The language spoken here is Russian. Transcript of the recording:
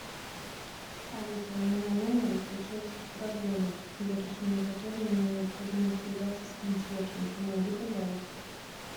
алиса у меня в номере случилась проблема для решения которой мне необходимо связаться с консьержем помоги пожалуйста